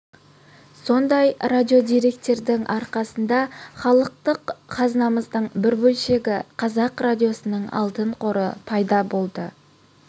сондай радиодеректердің арқасында халықтық қазынамыздың бір бөлшегі қазақ радиосының алтын қоры пайда болды